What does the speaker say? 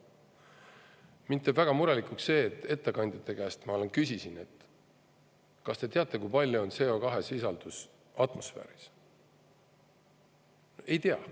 Mind teeb väga murelikuks see, et kui ma ettekandjate käest küsisin, kas te teate, kui suur on CO2 sisaldus atmosfääris, siis ei tea.